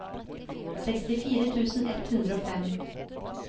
sekstifire tusen ett hundre og fem